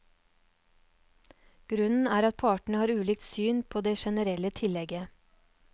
Grunnen er at partene har ulikt syn på det generelle tillegget.